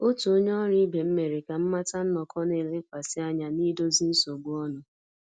Otu onye ọrụ ibe m mere ka m mata nnọkọ na-elekwasị anya na idozi nsogbu ọnụ